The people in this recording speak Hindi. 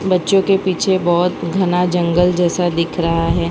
बच्चों के पीछे बहोत घना जंगल जैसा दिख रहा हैं।